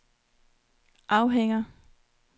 afhænger